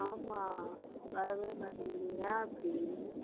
ஆமா. வரவே மாட்டேங்குது. ஏன் அப்படி